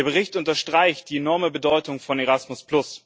Der Bericht unterstreicht die enorme Bedeutung von Erasmus.